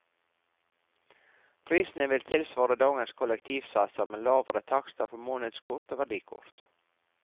Prisene vil tilsvare dagens kollektivsatser med lavere takster for månedskort og verdikort.